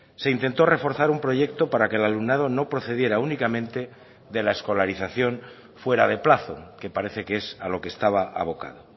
se intentó reforzar un proyecto para que el alumnado no procediera únicamente de la escolarización fuera de plazo que parece que es a lo que estaba abocado